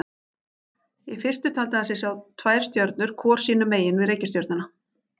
Í fyrstu taldi hann sig sjá tvær stjörnur hvor sínu megin við reikistjörnuna.